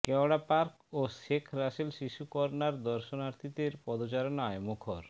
কেওড়া পার্ক ও শেখ রাসেল শিশু কর্নার দর্শনার্থীদের পদচারণায় মুখর